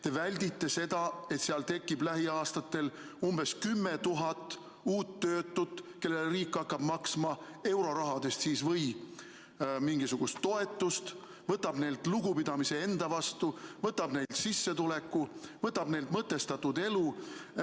Te väldite seda, et seal tekib lähiaastatel umbes 10 000 uut töötut, kellele riik hakkab maksma eurorahadest või muudest radadest mingisugust toetust, võtab neilt lugupidamise enda vastu, võtab neilt sissetuleku, võtab neilt mõtestatud elu.